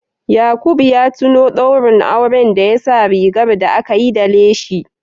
Yaqub ya tuno daurin auren da ya sa rigar da aka yi da leshi